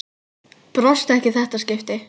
Brosti ekki í þetta skipti.